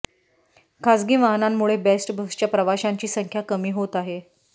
खासगी वाहनांमुळे बेस्ट बसच्या प्रवाशांची संख्या कमी होत आहे